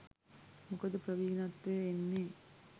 මොකද ප්‍රවීණත්වය එන්නේ